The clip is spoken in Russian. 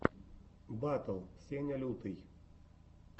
батл сеня лютый